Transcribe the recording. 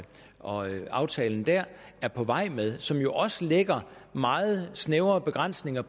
og aftalen der er på vej med som jo også lægger meget snævre begrænsninger